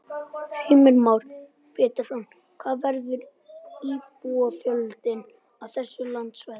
Heimir Már Pétursson: Hvað verður íbúafjöldinn á þessu landsvæði?